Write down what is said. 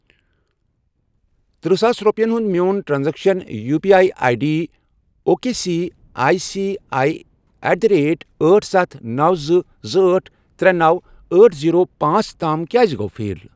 تٔرہ ساس رۄپِیَن ہُنٛد میون transaction U P I I D O K C I C I at the rate أٹھ، ستھَ، نوَ، زٕ، زٕ، أٹھ، ترے، نوَ، أٹھ، زیٖرو، پانژھ، تام کیٛازِ گوٚو فیل؟